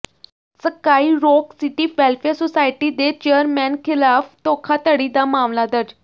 sky Rock City Welfare Society ਦੇ chairman ਖਿਲਾਫ਼ ਧੋਖਾਧੜੀ ਦਾ ਮਾਮਲਾ ਦਰਜ